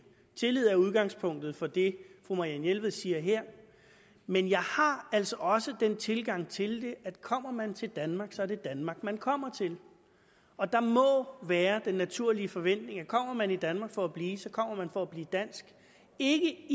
tillid er udgangspunktet for det fru marianne jelved siger her men jeg har altså også den tilgang til det at kommer man til danmark er det danmark man kommer til og der må være den naturlige forventning at kommer man til danmark for at blive så kommer man for at blive dansk ikke